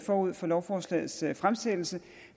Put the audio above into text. forud for lovforslagets fremsættelse